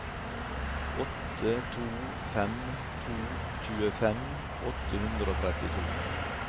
åtte to fem to tjuefem åtte hundre og trettito